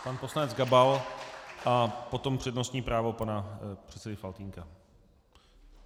Pan poslanec Gabal a potom přednostní právo pana předsedy Faltýnka.